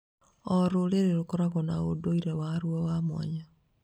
O rũrĩrĩ rũkoragwo na ũndũire waruo wa mwanya.